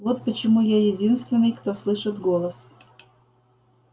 вот почему я единственный кто слышит голос